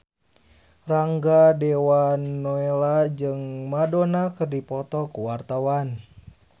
Rangga Dewamoela jeung Madonna keur dipoto ku wartawan